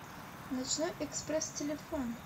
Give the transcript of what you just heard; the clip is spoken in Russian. ночной экспресс телефон